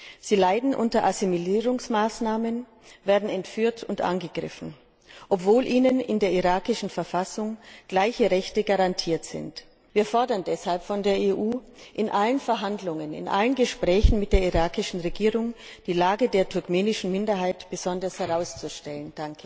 Turkmenen leiden unter Assimilierungsmaßnahmen, werden entführt und angegriffen, obwohl ihnen in der irakischen Verfassung gleiche Rechte garantiert werden. Wir fordern deshalb von der EU, in allen Verhandlungen und in allen Gesprächen mit der irakischen Regierung die Lage der turkmenischen Minderheit besonders herauszustellen!